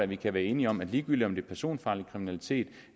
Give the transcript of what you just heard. vi kan være enige om at ligegyldigt om det er personfarlig kriminalitet